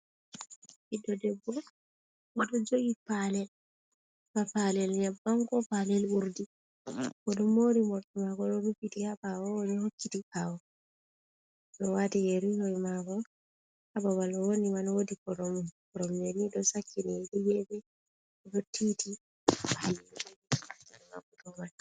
Ɓiɗdo debbo oɗo jogi palel ba palel nyebbam ko palel urdi, oɗo mori morɗi mako ɗo rufiti ha ɓawo oɗo hokkiti ɓawo, oɗo wati yeri noy mako, ha babal owoni man woɗi koromje ni ɗo sakkini ɗa gefe ɗo titi.